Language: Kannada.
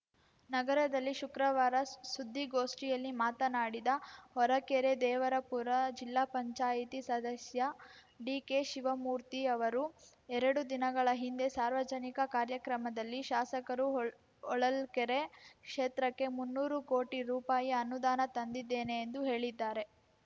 ನಗರದಲ್ಲಿ ಶುಕ್ರವಾರ ಸು ಸುದ್ದಿಗೋಷ್ಠಿಯಲ್ಲಿ ಮಾತನಾಡಿದ ಹೊರಕೆರೆದೇವರಪುರ ಜಿಲ್ಲಾ ಪಂಚಾಯ್ತಿ ಸದಸ್ಯ ಡಿಕೆಶಿವಮೂರ್ತಿ ಅವರು ಎರಡು ದಿನಗಳ ಹಿಂದೆ ಸಾರ್ವಜನಿಕ ಕಾರ್ಯಕ್ರಮದಲ್ಲಿ ಶಾಸಕರು ಹೊ ಹೊಳಲ್ಕೆರೆ ಕ್ಷೇತ್ರಕ್ಕೆ ಮುನ್ನೂರು ಕೋಟಿ ರೂಪಾಯಿ ಅನುದಾನ ತಂದಿದ್ದೇನೆ ಎಂದು ಹೇಳಿದ್ದಾರೆ